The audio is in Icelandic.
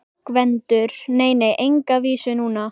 GVENDUR: Nei, nei, enga vísu núna.